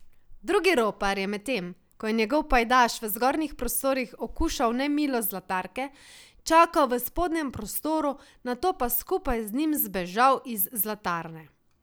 Drugi ropar je medtem, ko je njegov pajdaš v zgornjih prostorih okušal nemilost zlatarke, čakal v spodnjem prostoru, nato pa skupaj z njim zbežal iz zlatarne.